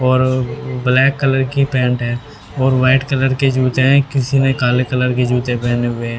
और black colour की pant है और व्हाइट कलर के जूते हैं किसी ने काले कलर के जूते पहने हुए हैं।